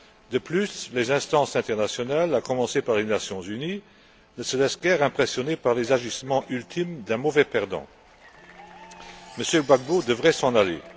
De plus, les instances internationales, à commencer par les Nations unies, ne se laissent guère impressionner par les agissements ultimes d'un mauvais perdant. M. Gbagbo devrait s'en aller.